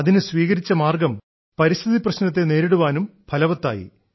അതിന് സ്വീകരിച്ച മാർഗ്ഗം പരിസ്ഥിതി പ്രശ്നത്തെ നേരിടുവാനും ഫലവത്തായി